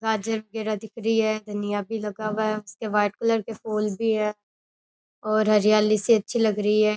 गाजर पेडा दिख रही है धनिया भी लगा हुआ है उसके व्हाइट कलर के फूल भी है और हरियाली सी अच्छी लग रही है।